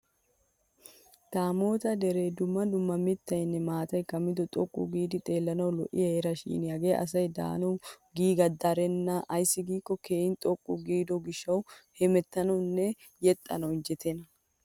Damoota deree dumma dumma mittayinne maatay kammido xoqqu giidi xeellanawu lo'iya heera Shin Hagee asay daanawu giigaa darenna ayssi giikko keehin xoqqu giidi gishawu jeexxanawunne hemettanawu injjetenna.